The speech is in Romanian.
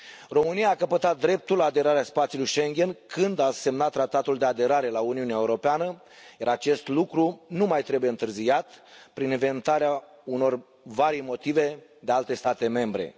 România a căpătat dreptul de aderare la spațiul Schengen când a semnat Tratatul de aderare la Uniunea Europeană, iar acest lucru nu mai trebuie întârziat prin inventarea unor varii motive de alte state membre.